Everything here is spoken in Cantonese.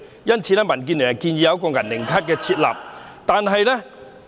因此，民建聯建議為他們設立"銀齡卡"。